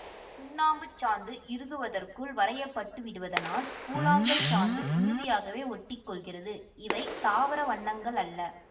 சுண்ணாம்புச்சாந்து இறுகுவதற்குள் வரையப்பட்டுவிடுவதனால் கூழாங்கல்சாந்து உறுதியாகவே ஒட்டிக்கொள்கிறது இவை தாவர வண்ணங்கள் அல்ல